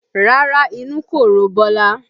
Rárá inú kò ro Bọlá